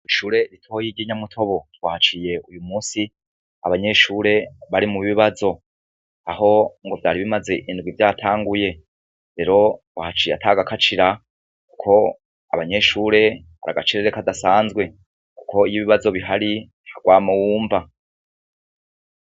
Kw'ishure ritoyi ry 'inyamutobo twahaciye uyu musi abanyeshure bari mu bibazo aho ngo vyari bimaze indwi vyatanguye, rero uhaciye atagakacira ko abanyeshure hari agacerere kadasanzwe kuko iy'ibibazo bihari nta gwamo wumva.